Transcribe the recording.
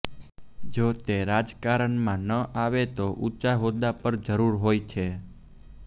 જો તે રાજકારણમાં ન આવે તો ઊંચા હોદ્દા પર જરૂર હોય છે